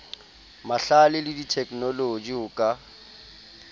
mahlale le theknoloji ho ka